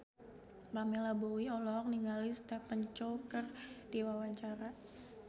Pamela Bowie olohok ningali Stephen Chow keur diwawancara